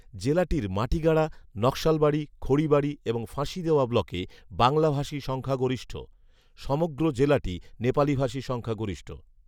জেলাটির "মাটিগাড়া, নাকশালবাড়ি, খড়িবাড়ি এবং ফাঁসিদেওয়া" ব্লকে বাংলাভাষী সংখ্যাগরিষ্ঠ৷ সমগ্র জেলাটি নেপালীভাষী সংখ্যাগরিষ্ঠ৷